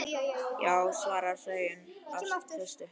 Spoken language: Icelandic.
Já, svarar Sæunn af festu.